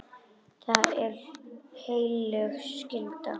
Það er heilög skylda.